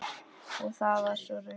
Og það var svo raunin.